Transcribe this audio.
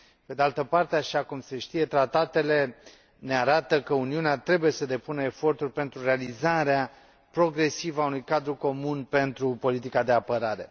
Pe de altă parte, așa cum se știe, Tratatele ne arată că Uniunea trebuie să depună eforturi pentru realizarea progresivă a unui cadru comun pentru politica de apărare.